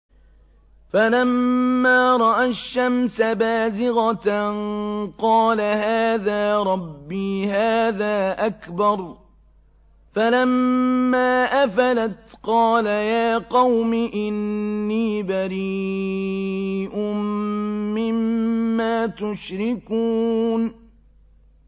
فَلَمَّا رَأَى الشَّمْسَ بَازِغَةً قَالَ هَٰذَا رَبِّي هَٰذَا أَكْبَرُ ۖ فَلَمَّا أَفَلَتْ قَالَ يَا قَوْمِ إِنِّي بَرِيءٌ مِّمَّا تُشْرِكُونَ